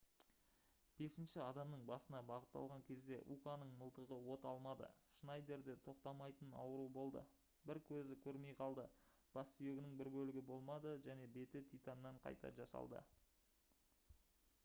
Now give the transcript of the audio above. бесінші адамның басына бағыттаған кезде уканың мылтығы от алмады шнайдерде тоқтамайтын ауыру болды бір көзі көрмей қалды бассүйегінің бір бөлігі болмады және беті титаннан қайта жасалды